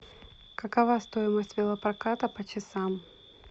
какова стоимость велопроката по часам